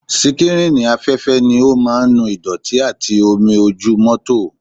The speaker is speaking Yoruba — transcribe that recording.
Síkrínì afẹ́fẹ́ ni ó máa ń nu ìdọ̀tí àti omi ojú mọ́tò